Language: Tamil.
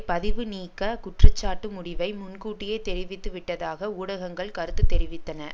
பதிவுநீக்க குற்றச்சாட்டு முடிவை முன்கூட்டியே தெரிவித்து விட்டதாக ஊடகங்கள் கருத்து தெரிவித்தன